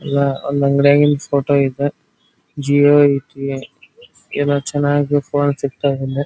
ಎಲ್ಲ ಒಂದ್ ಅಂಗಡಿಯಾಗಿನ್ ಫೋಟೋ ಅಯ್ತೆ ಜಿಒ ಅಯ್ತಿ ಎಲ್ಲ ಚೆನ್ನಾಗಿ ಫೋನ್ ಸಿಗತೈತಿ.